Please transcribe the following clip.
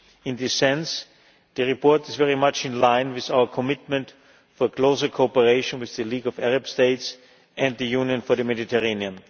In this sense, the report is very much in line with our commitment for closer co operation with the League of Arab States and the Union for the Mediterranean.